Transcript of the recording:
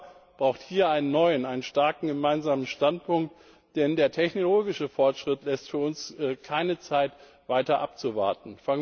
Europa braucht hier einen neuen, starken gemeinsamen Standpunkt, denn der technologische Fortschritt lässt uns keine Zeit, weiter abzuwarten.